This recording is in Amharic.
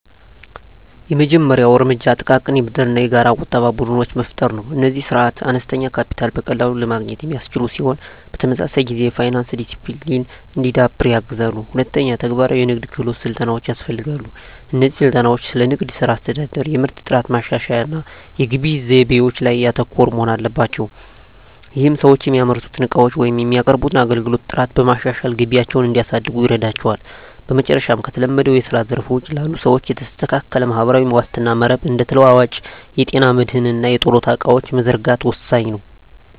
የመጀመሪያው እርምጃ ጥቃቅን የብድርና የጋራ ቁጠባ ቡድኖችን መፍጠር ነው። እነዚህ ስርዓቶች አነስተኛ ካፒታልን በቀላሉ ለማግኘት የሚያስችሉ ሲሆን፣ በተመሳሳይ ጊዜ የፋይናንስ ዲሲፕሊን እንዲዳብር ያግዛሉ። ሁለተኛ፣ ተግባራዊ የንግድ ክህሎት ስልጠናዎች ያስፈልጋሉ። እነዚህ ስልጠናዎች ስለ ንግድ ሥራ አስተዳደር፣ የምርት ጥራት ማሻሻያ እና የግብይት ዘይቤዎች ላይ ያተኮሩ መሆን አለባቸው። ይህም ሰዎች የሚያመርቱትን ዕቃዎች ወይም የሚያቀርቡትን አገልግሎት ጥራት በማሻሻል ገቢያቸውን እንዲያሳድጉ ይረዳቸዋል። በመጨረሻም፣ ከተለመደው የስራ ዘርፍ ውጪ ላሉ ሰዎች የተስተካከለ ማህበራዊ ዋስትና መረብ (እንደ ተለዋዋጭ የጤና መድህን እና የጡረታ ዕቅዶች) መዘርጋት ወሳኝ ነው።